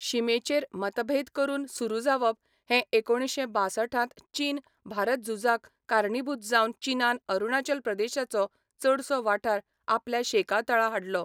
शिमेचेर मतभेद परतून सुरू जावप हें एकुणशे बासठांत चीन भारत झुजाक कारणीभूत जावन चीनान अरुणाचल प्रदेशाचो चडसो वाठार आपल्या शेकातळा हाडलो.